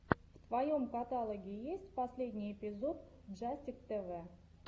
в твоем каталоге есть последний эпизод джастик тэвэ